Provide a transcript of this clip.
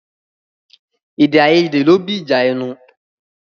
Èdè àìyédè ló bí ìjà ẹnu.